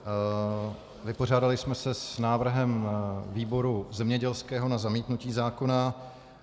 Vypořádali jsme se s návrhem výboru zemědělského na zamítnutí zákona.